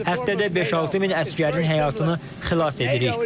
Həftədə 5-6 min əsgərin həyatını xilas edirik.